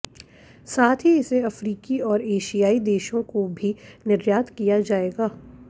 साथ ही इसे अफ्रीकी और एशियाई देशों को भी निर्यात किया जाएगा